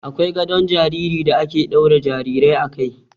Akwai gadon jariri da ake daura jarirai a kai.